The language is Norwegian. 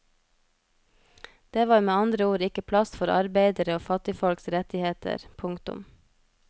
Det var med andre ord ikke plass for arbeidere og fattigfolks rettigheter. punktum